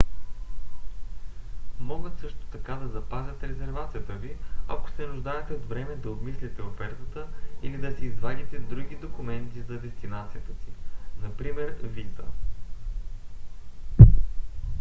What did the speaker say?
могат също така да запазят резервацията ви ако се нуждаете от време да обмислите офертата или да си извадите други документи за дестинацията си напр. виза